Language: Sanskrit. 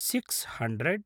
six hundred